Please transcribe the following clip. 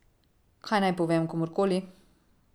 Kaj naj povem komurkoli?